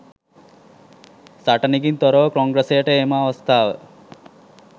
සටනකින් තොරව කොංග්‍රසයට එම අවස්ථාව